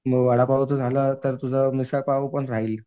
मग वडापावचं झालं तर तुझं मिसळपाव पण राहील.